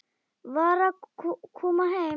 Var að koma heim.